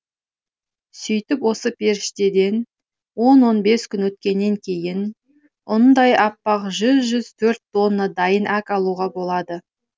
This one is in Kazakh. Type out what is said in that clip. сөйтіп осы пештерден он он бес күн өткеннен кейін ұндай аппақ жүз жүз төрт тонна дайын әк алуға болады